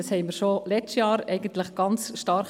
Dies bekundeten wir bereits letztes Jahr ganz stark.